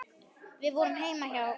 Við vorum heima hjá